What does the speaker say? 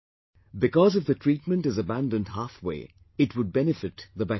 Because if the treatment is abandoned halfway, it would benefit the bacteria